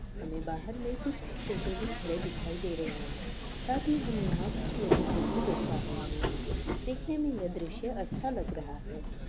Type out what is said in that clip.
हमें बाहर में कुछ टोटो भी खड़े दिखाई दे रहे हैं साथ हि हम यहां कुछ लोगों को भी देख पा रहे हे हैं देखने में इए दृश्य अच्छा लग रहा है।